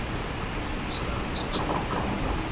onbeskermde seksuele omgang